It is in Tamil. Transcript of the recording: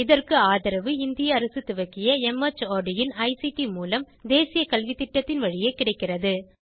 இதற்கு ஆதரவு இந்திய அரசு துவக்கிய மார்ட் இன் ஐசிடி மூலம் தேசிய கல்வித்திட்டத்தின் வழியே கிடைக்கிறது